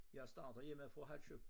Jeg starter hjemmefra halv 7